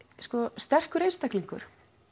sterkur einstaklingur